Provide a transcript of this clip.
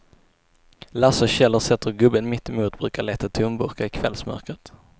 Lasse och Kjell har sett hur gubben mittemot brukar leta tomburkar i kvällsmörkret.